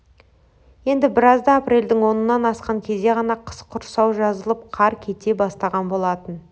енді біразда апрельдің онынан асқан кезде ғана қыс құрсауы жазылып қар кете бастаған болатын